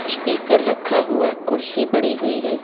Speaker रखा हुआ कुर्सी पड़ी हुई है।